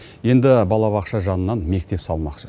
енді балабақша жанынан мектеп салмақшы